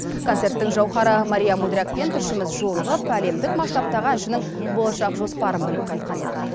концерттің жауһары мария мудрякпен тілшіміз жолығып әлемдік масштабтағы әншінің болашақ жоспарын біліп қайтқан еді